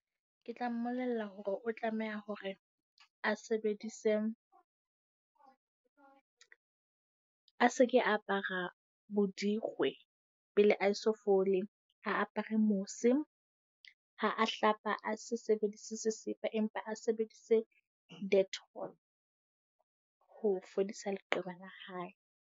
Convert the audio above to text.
Ke tla mmolella hore o tlameha hore a sebedise , a se ke apara bodikgwe pele ae so fole. A apere mose. Ha a hlapa, a se sebedise sesepa, empa a sebedise dettol ho fodisa leqeba la hae.